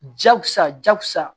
Jakusa jakusa